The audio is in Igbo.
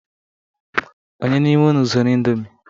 Ònye n'ime unu zuru indomie?